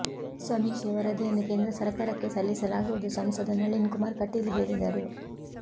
ಸಮೀಕ್ಷೆ ವರದಿಯನ್ನು ಕೇಂದ್ರ ಸರಕಾರಕ್ಕೆ ಸಲ್ಲಿಸಲಾ ಗುವುದು ಸಂಸದ ನಳಿನ್ ಕುಮಾರ್ ಕಟೀಲ್ ಹೇಳಿದರು